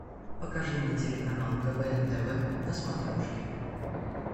покажи мне телеканал квн тв на смотрешке